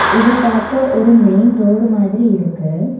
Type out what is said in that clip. இத பாக்க ஒரு மெயின் ரோடு மாதிரி இருக்கு.